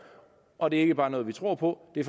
og det er ikke bare noget vi tror på det